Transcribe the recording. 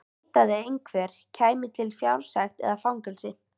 Neitaði einhver, kæmi til fjársekt eða fangelsi.